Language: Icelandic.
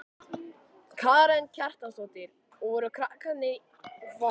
Karen Kjartansdóttir: Og voru krakkarnir í beltum?